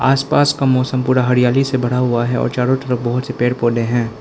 आस पास का मौसम पूरा हरियाली से भरा हुआ है और चारों तरफ बहुत से पेड़ पौधे है।